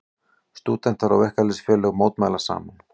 Stúdentar og verkalýðsfélög mótmæla saman